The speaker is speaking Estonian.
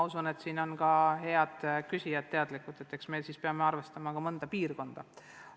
Usun, et ka head küsijad on nõus, et me peame mõnda piirkonda erilisel moel arvestama.